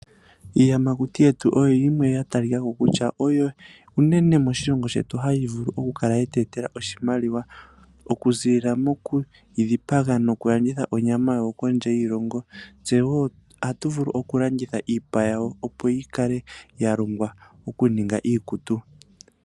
Iiyamakuti yetu oyo yimwe ya talika ko kutya oyo unene moshilongo shetu hayi vulu okukala ye tu etela oshimaliwa okuziilila moku yi dhipaga nokulanditha onyama yawo kondje yiilongo. Ohatu vulu okulanditha iipa yawo, opo yi ningwe iikutu.